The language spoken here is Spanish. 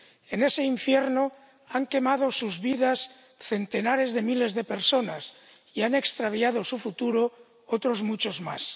En ese infierno han quemado sus vidas centenares de miles de personas y han extraviado su futuro otros muchos más.